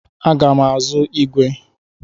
Ana m aga ịzụ ígwè.